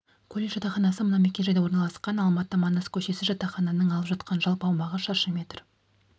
колледж жатақханасы мына мекен-жайда орналасқан алматы манас көшесі жатақхананың алып жатқан жалпы аумағы шаршы метр